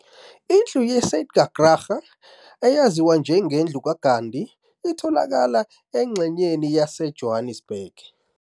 Indlu Ye Satyagraha, eyaziwa njengendlu ka Gandhi, itholakala engxenyeni yase Johannesburg.